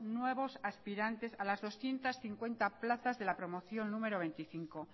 nuevos aspirantes a las doscientos cincuenta plazas de la promoción número veinticinco